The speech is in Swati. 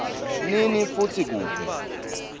nini futsi kuphi